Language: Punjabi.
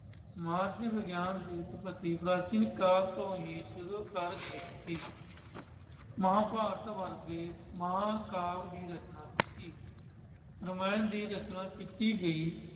ਸਮਾਜ ਵਿਗਿਆਨ ਦੀ ਉੱਤਪਤੀ ਪ੍ਰਾਚੀਨ ਕਾਲ ਤੋਂ ਹੀ ਸ਼ੁਰੂ ਹੋ ਗਈ ਸੀ। ਮਹਾਂਭਾਰਤ ਵਰਗੇ ਮਹਾਂਕਾਲ ਦੀ ਰਚਨਾ ਕੀਤੀ। ਰਮਾਇਣ ਦੀ ਰਚਨਾ ਕੀਤੀ ਗਈ।